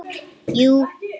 Jú